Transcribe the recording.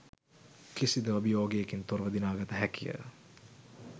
කිසිදු අභියෝගයකින් තොරව දිනාගත හැකිය